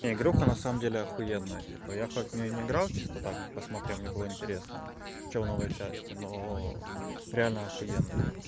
не игруха на самом деле ахуенная типа я хоть в неё не играл чисто так посмотрел мне было интересно что новые части но реально ахуенная